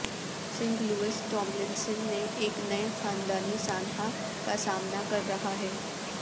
Singh Louis Tomlinson نے ایک نئے خاندانی سانحہ کا سامنا کر رہا ہے